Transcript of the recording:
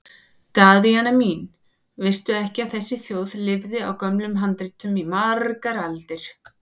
Daðína mín, veistu ekki að þessi þjóð lifði á gömlum handritum í margar aldir?